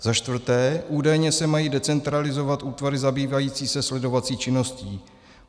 Za čtvrté: Údajně se mají decentralizovat útvary zabývající se sledovací činností.